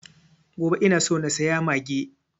Gobe ina so na saya mage